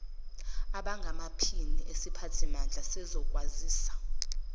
abangamaphini esiphathimandla sezokwazisa